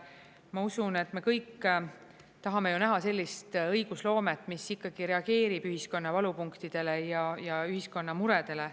Ma usun, et me kõik tahame ju näha sellist õigusloomet, mis ikkagi reageerib ühiskonna valupunktidele ja ühiskonna muredele.